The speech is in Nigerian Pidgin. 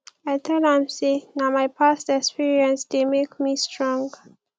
i tell am sey na my past experience dey make me strong